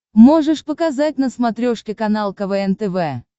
можешь показать на смотрешке канал квн тв